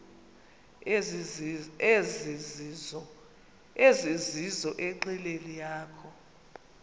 ezizizo enqileni yakho